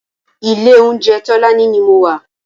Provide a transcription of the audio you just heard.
Ilé óunjè Tolani ni mó wà